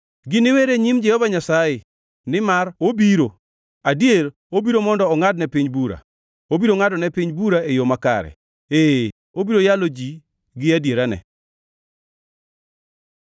giniwer e nyim Jehova Nyasaye, nimar obiro, adier obiro mondo ongʼad ne piny bura. Obiro ngʼado ne piny bura e yo makare, ee, obiro yalo ji gi adierane.